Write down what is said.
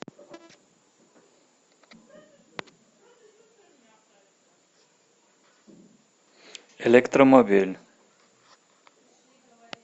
электромобиль